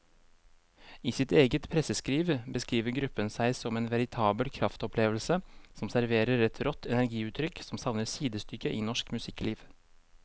I sitt eget presseskriv beskriver gruppen seg som en veritabel kraftopplevelse som serverer et rått energiutrykk som savner sidestykke i norsk musikkliv.